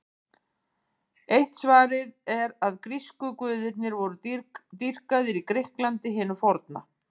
Eitt svarið er að grísku guðirnir voru dýrkaðir í Grikklandi hinu forna.